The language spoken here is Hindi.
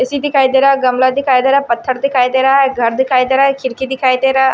सी दिखाई दे रहा गमला दिखाई दे रहा पत्थर दिखाई दे रहा है घर दिखाई दे रहा है खिरकी दिखाई दे रहा है।